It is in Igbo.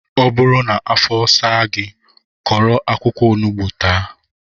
Ọ bụrụ na afo saa gị, kụrụ akwụkwọ onugbu taa